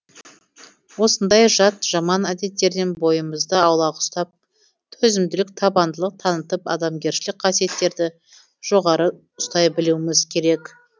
осындай жат жаман әдеттерден бойымызды аулақ ұстап төзімділік табандылық танытып адамгершілік қасиеттерді жоғары ұстай білуіміз керек